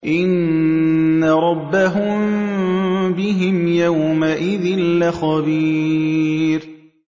إِنَّ رَبَّهُم بِهِمْ يَوْمَئِذٍ لَّخَبِيرٌ